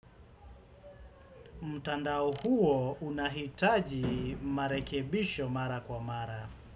Mutandao huo unahitaji marekebisho mara kwa mara.